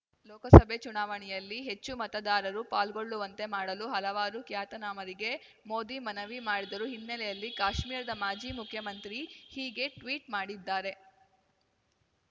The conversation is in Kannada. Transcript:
ಲೋಕಸಭೆ ಚುನಾವಣೆಯಲ್ಲಿ ಹೆಚ್ಚು ಮತದಾರರು ಪಾಲ್ಗೊಳ್ಳುವಂತೆ ಮಾಡಲು ಹಲವಾರು ಖ್ಯಾತನಾಮರಿಗೆ ಮೋದಿ ಮನವಿ ಮಾಡಿದರು ಹಿನ್ನೆಲೆಯಲ್ಲಿ ಕಾಶ್ಮೀರದ ಮಾಜಿ ಮುಖ್ಯಮಂತ್ರಿ ಹೀಗೆ ಟ್ವೀಟ್ ಮಾಡಿದ್ದಾರೆ